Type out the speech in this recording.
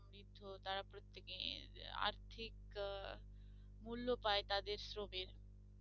সমৃদ্ধ তারা প্রত্যেকে আর্থিক আহ মূল্য পায় তাদের শ্রমের